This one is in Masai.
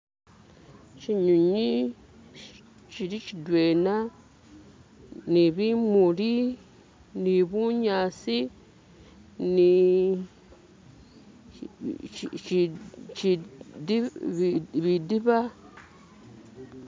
shinywinywi shili shidwena nibimuli nibunyasi ni bidiba